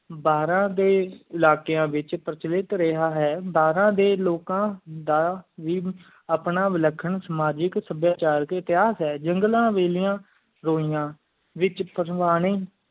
ਬਾਰਾਂ ਦੇ ਇਲਾਕ਼ਯਾਂ ਵਿਚ ਪਰ੍ਵੇਖ ਰਯ ਆਯ ਪ੍ਰਚ ਵਿਕ ਰਯ ਹੈ ਬਾਰਾਂ ਦੇ ਲੋਕਾਂ ਬਾਰਾਂ ਦੇ ਲੋਕਾਂ ਦਾ ਵੀ ਆਓਣਾ ਵਿਲਖਣ ਸਮਾਜਿਕ ਸਭ੍ਯਾਚਾਰ ਦੇ ਪਾਯਾ ਹੈ ਜੰਗਲਾਂ ਵੇਲ੍ਯਾਂ ਰੋਇਯਾਂ ਵਿਚ ਪਾਸ੍ਵਾਨੀ